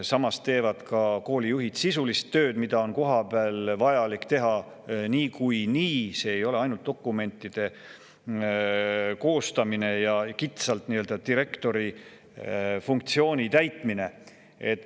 Samas teevad koolijuhid ka sisulist tööd, mida kohapeal on niikuinii vaja teha, ei ole ainult dokumentide koostamine ja nii-öelda kitsalt direktori funktsiooni täitmine.